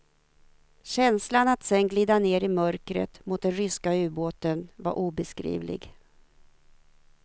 Känslan att sedan glida ner i mörkret mot den ryska ubåten var obeskrivlig.